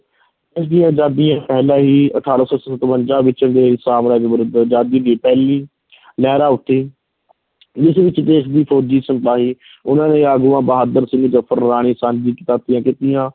ਦੇਸ਼ ਦੀ ਆਜ਼ਾਦੀ, ਪਹਿਲਾਂ ਹੀ ਅਠਾਰਾਂ ਸੌ ਸਤਵੰਜ਼ਾ ਵਿੱਚ ਅੰਗਰੇਜ਼ ਸਾਮਰਾਜ ਵਿਰੁੱਧ ਆਜ਼ਾਦੀ ਦੀ ਪਹਿਲੀ ਲਹਿਰਾਂ ਉੱਠੀ ਜਿਸ ਵਿੱਚ ਦੇਸ਼ ਦੇ ਫੌਜ਼ੀ ਸਿਪਾਹੀ ਉਨ੍ਹਾਂ ਦੇ ਆਗੂਆਂ ਬਹਾਦਰ ਜ਼ਫਰ, ਰਾਣੀ